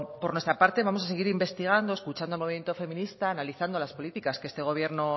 por nuestra parte vamos a seguir investigando escuchando al movimiento feminista analizando las políticas que este gobierno